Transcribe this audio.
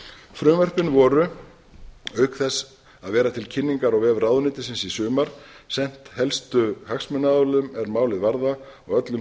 frumvörpin voru auk þess að vera til kynningar á vef ráðuneytisins í sumar sent helstu hagsmunaaðilum er málið varða og öllum